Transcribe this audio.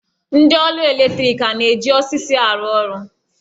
Ndị ọrụ eletriki ha a na-eji osisi arụ ọrụ?